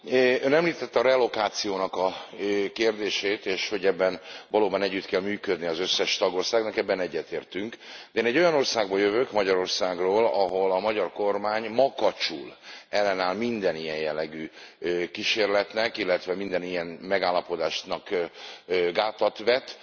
Ön említette a relokációnak a kérdését, és hogy ebben valóban együtt kell működnie az összes tagországnak, ebben egyetértünk. De én egy olyan országból jövök, Magyarországról, ahol a magyar kormány makacsul ellenáll minden ilyen jellegű kísérletnek, illetve minden ilyen megállapodásnak gátat vet.